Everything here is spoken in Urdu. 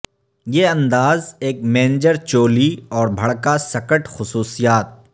یہ انداز ایک مینجر چولی اور بھڑکا سکرٹ خصوصیات